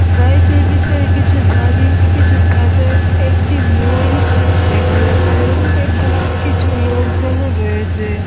বাড়িটির ভিতরে কিছু বালি কিছু পাথর একটি মই দেখা যাচ্ছে এবং কিছু লোকজনও রয়েছে।